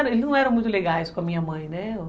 Eles não eram muito legais com a minha mãe, né?